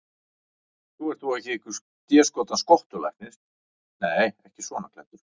Þú ert þó ekki einhver déskotans skottulæknirinn. nei, ekki svona klæddur.